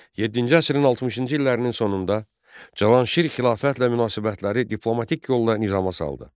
Yeddinci əsrin 60-cı illərinin sonunda Cavanşir xilafətlə münasibətləri diplomatik yolla nizama saldı.